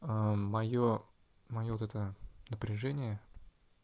аа моё моё вот это напряжение